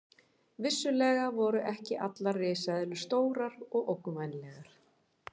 Vissulega voru ekki allar risaeðlur stórar og ógnvænlegar.